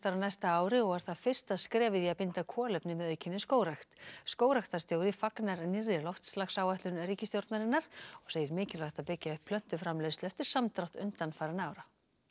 á næsta ári og er það fyrsta skrefið í að binda kolefni með aukinni skógrækt skógræktarstjóri fagnar nýrri loftslagsáætlun ríkisstjórnarinnar og segir mikilvægt að byggja upp plöntuframleiðslu eftir samdrátt undanfarinna ára